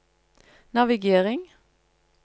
navigering